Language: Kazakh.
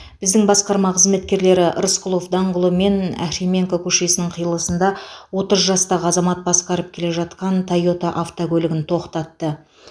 біздің басқарма қызметкерлері рысқұлов даңғылы мен ахременко көшесінің қиылысында отыз жастағы азамат басқарып келе жатқан тойота автокөлігін тоқтатты